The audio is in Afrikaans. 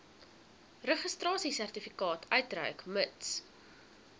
registrasiesertifikaat uitreik mits